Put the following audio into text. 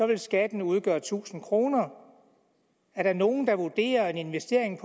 vil skatten udgøre tusind kroner er der nogen der vurderer en investering